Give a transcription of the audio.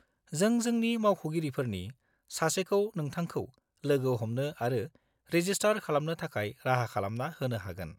जों जोंनि मावख'गिरिफोरनि सासेखौ नोंथांखौ लोगो हमनो आरो रेजिस्टार खालामनो थाखाय राहा खालामना होनो हागोन।